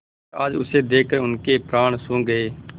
पर आज उसे देखकर उनके प्राण सूख गये